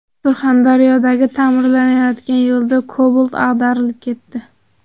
Surxondaryodagi ta’mirlanayotgan yo‘lda Cobalt ag‘darilib ketdi.